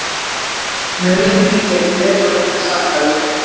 Nauðlendingin gekk vel og engan sakaði